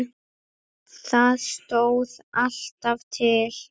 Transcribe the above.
Það stóð alltaf til.